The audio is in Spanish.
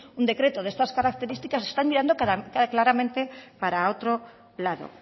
un decreto de estas características están mirando claramente para otro lado